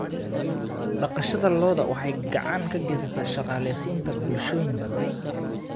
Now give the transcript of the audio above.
Dhaqashada lo'du waxay gacan ka geysataa shaqaaleysiinta bulshooyin badan.